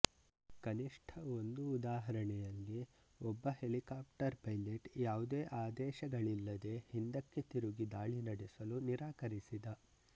ಕನಿಷ್ಠ ಒಂದು ಉದಾಹರಣೆಯಲ್ಲಿ ಒಬ್ಬ ಹೆಲಿಕಾಪ್ಟರ್ ಪೈಲಟ್ ಯಾವುದೇ ಆದೇಶಗಳಿಲ್ಲದೇ ಹಿಂದಕ್ಕೆ ತಿರುಗಿ ದಾಳಿ ನಡೆಸಲು ನಿರಾಕರಿಸಿದ